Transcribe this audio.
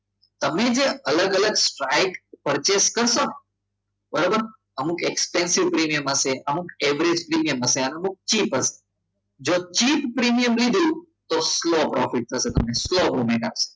તમે જે અલગ અલગ સાઈડ purchase કરશો બરાબર અમુક explansive પ્રીમિયમ હશે જો cheap પ્રીમિયમ લીધું તો slow profit થશે